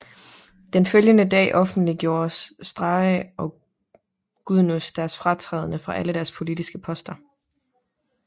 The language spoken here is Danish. Den følgende dag offentliggjorde Strache og Gudenus deres fratræden fra alle deres politiske poster